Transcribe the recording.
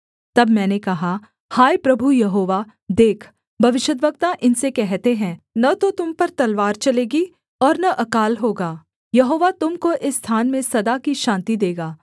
तब मैंने कहा हाय प्रभु यहोवा देख भविष्यद्वक्ता इनसे कहते हैं न तो तुम पर तलवार चलेगी और न अकाल होगी यहोवा तुम को इस स्थान में सदा की शान्ति देगा